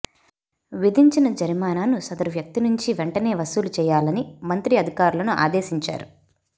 విధించిన జరిమానాను సదరు వ్యక్తి నుంచి వెంటనే వసూలు చేయాలని మంత్రి అధికారులను ఆదేశించారు